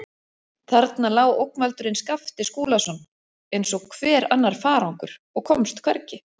Þarna lá ógnvaldurinn Skapti Skúlason eins og hver annar farangur og komst hvergi.